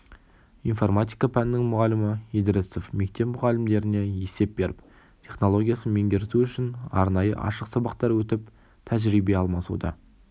информатика пәнінің мұғалімі идрисов мектеп мұғалімдеріне есеп беріп технологиясын меңгерту үшін арнайы ашық сабақтар өтіп тәжірибе алмасуда